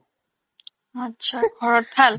achcha ঘৰত ভাল